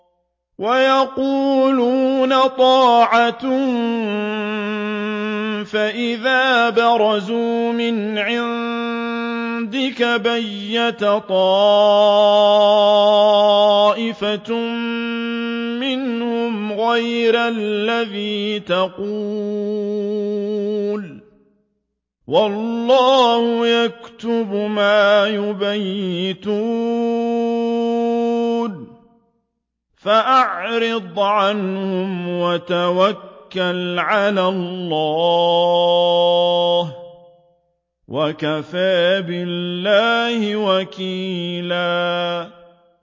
وَيَقُولُونَ طَاعَةٌ فَإِذَا بَرَزُوا مِنْ عِندِكَ بَيَّتَ طَائِفَةٌ مِّنْهُمْ غَيْرَ الَّذِي تَقُولُ ۖ وَاللَّهُ يَكْتُبُ مَا يُبَيِّتُونَ ۖ فَأَعْرِضْ عَنْهُمْ وَتَوَكَّلْ عَلَى اللَّهِ ۚ وَكَفَىٰ بِاللَّهِ وَكِيلًا